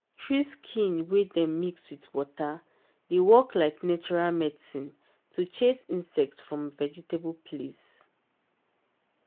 tree skin wey dem mix with water dey work like natural medicine to chase insect from vegetable place.